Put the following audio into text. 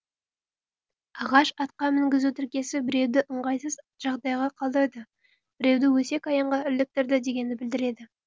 ағаш атқа мінгізу тіркесі біреуді ыңғайсыз жағдайда қалдырды біреуді өсек аяңға іліктірді дегенді білдіреді